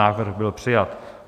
Návrh byl přijat.